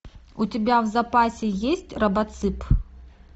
у тебя в запасе есть робоцып